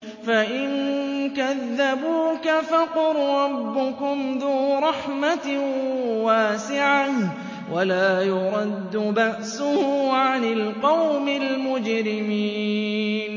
فَإِن كَذَّبُوكَ فَقُل رَّبُّكُمْ ذُو رَحْمَةٍ وَاسِعَةٍ وَلَا يُرَدُّ بَأْسُهُ عَنِ الْقَوْمِ الْمُجْرِمِينَ